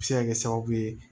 A bɛ se ka kɛ sababu ye